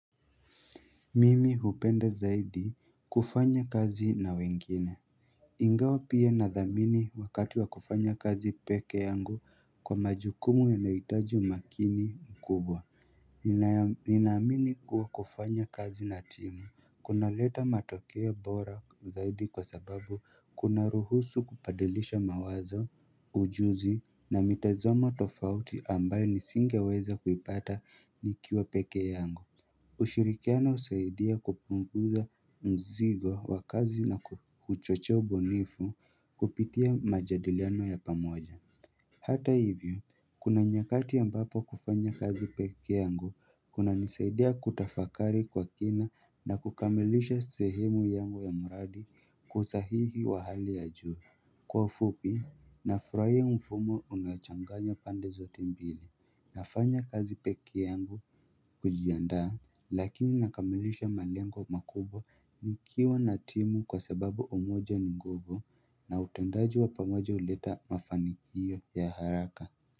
Mimi hupenda zaidi kufanya kazi na wengine Ingawa pia na dhamini wakati wa kufanya kazi peke yangu kwa majukumu yanayitaji umakini mkubwa Ninaamini kuwa kufanya kazi na timu Kuna leta matokea bora zaidi kwa sababu kuna ruhusu kubadilisha mawazo ujuzi na mitazoma tofauti ambayo nisinge weza kupata nikiwa peke yangu ushirikiano husaidia kupunguza mzigo wa kazi na kuchocho ubunifu kupitia majadiliano ya pamoja Hata hivyo, kuna nyakati ambapo kufanya kazi peke yangu kunanisaidia kutafakari kwa kina na kukamilisha sehemu yangu ya mradi kwa usahihi wa hali ya juu Kwa ufupi nafurahia mfumo unaochanganya pande zote mbili nafanya kazi peke yangu kujiandaa lakini nakamilisha malengo makubwa nikiwa na timu kwa sababu umoja ni nguvu na utendaji wa pamoja huleta mafanikio ya haraka.